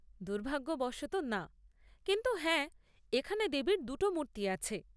দুর্ভাগ্যবশত, না; কিন্তু হ্যাঁ, এখানে দেবীর দুটো মূর্তি আছে।